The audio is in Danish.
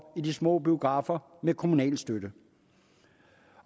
i de små biografer med kommunal støtte